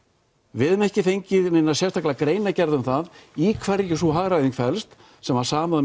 við höfum ekki fengið neina sérstaka greinargerð um það í hverju sú hagræðing felst sem var samið